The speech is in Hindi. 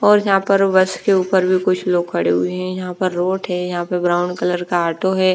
और यहाँ पर बस के ऊपर भी कुछ लोग खड़े हुए हैं यहाँ पर रोड है यहाँ पर ब्राउन कलर का ऑटो है ।